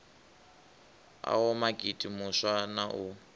oa makete muswa na u